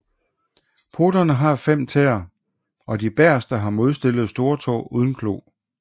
Poterne har 5 tæer og de bagerste har modstillet storetå uden klo